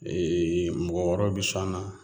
mɔgɔ wɛrɛw bɛ sɔn a la